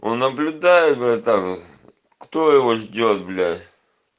он наблюдает братан кто его ждёт блять